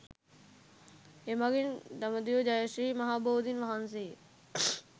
එමඟින් දඹදිව ජය ශ්‍රී මහා බෝධීන් වහන්සේගේ